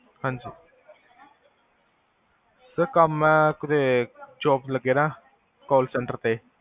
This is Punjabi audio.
ਹਾਂਜੀ ਸਰ ਕਮ ਆ job ਲ੍ਗੇਆ ਹੋਇਆ ਆ call centre ਤੇ